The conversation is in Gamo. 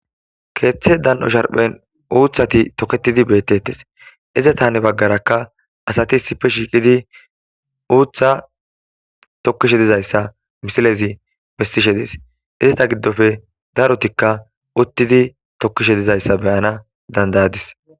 keeththe dan7o sharphen uuthati toketidi beettettes izata hani baggarakka asati sife shiiqidi uutha tokkishe dizayssa misilezi bestishe dees izata giddofe darutikka uttidi tokkishe dizayssa beyana dandayadis